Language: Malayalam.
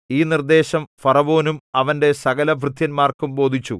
ഈ നിർദേശം ഫറവോനും അവന്റെ സകലഭൃത്യന്മാർക്കും ബോധിച്ചു